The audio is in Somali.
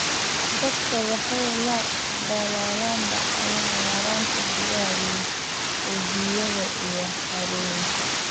Dadka waxay la daalaa dhacaan yaraanta biyaha webiyada iyo harooyinka.